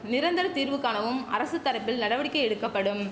நிரந்தர தீர்வு காணவும் அரசு தரப்பில் நடவடிக்கை எடுக்கப்படும்